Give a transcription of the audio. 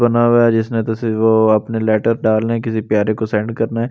बना हुआ है जिसने तो वो अपने लेटर डालने हैं किसी प्यारे को सेंड करना है।